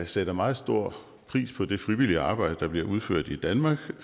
sætter meget stor pris på det frivillige arbejde der bliver udført i danmark